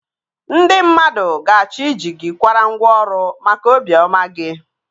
Ndị mmadụ ga-achọ ị ji gị kwara ngwa ọrụ maka obi ọma gị